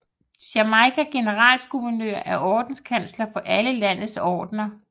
Jamaicas generalguvernør er ordenskansler for alle landets ordener